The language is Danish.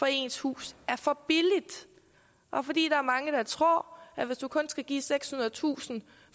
ens hus er for billigt og fordi der er mange der tror at hvis du kun skal give sekshundredetusind